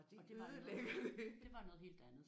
Og det ødelægger det